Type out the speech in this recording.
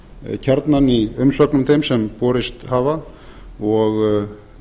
kjarnann í umsögnum þeim sem borist hafa og